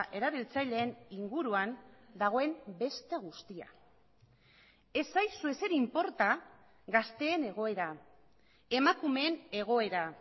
erabiltzaileen inguruan dagoen beste guztia ez zaizu ezer inporta gazteen egoera emakumeen egoera